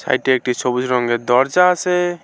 এটি একটি সবুজ রঙের দরজা আছে।